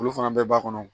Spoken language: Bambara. Olu fana bɛɛ b'a kɔnɔ